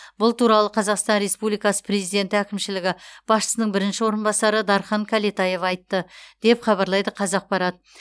бұл туралы қазақстан республикасы президенті әкімшілігі басшысының бірінші орынбасары дархан кәлетаев айтты деп хабарлайды қазақпарат